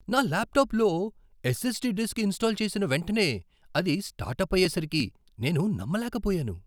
నా ల్యాప్టాప్లో SSD disk install చేసిన వెంటనే అది స్టార్ట్అప్ అయ్యేసరికి నేను నమ్మలేకపోయాను.